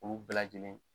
Olu bɛɛ lajɛlen